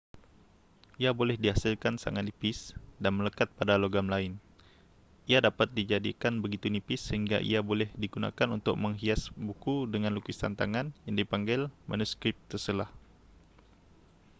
ia boleh dihasilkan sangat nipis dan melekat pada logam lain ia dapat dijadikan begitu nipis sehingga ia boleh digunakan untuk menghias buku dengan lukisan tangan yang dipanggil manuskrip terselah